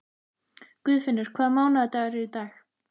Guðfinnur, hvaða mánaðardagur er í dag?